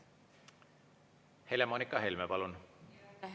Helle-Moonika Helme, palun!